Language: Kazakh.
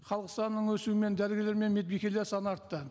халық санының өсуімен дәрігерлер мен медбикелер саны артты